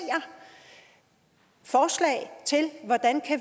forslag til hvordan